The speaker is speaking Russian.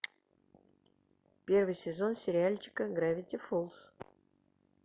первый сезон сериальчика гравити фолз